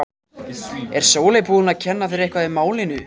Er Sóley búin að kenna þér eitthvað í málinu?